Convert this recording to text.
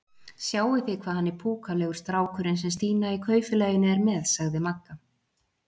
Sjáið þið hvað hann er púkalegur strákurinn sem Stína í Kaupfélaginu er með? sagði Magga.